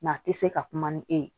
a tɛ se ka kuma ni e ye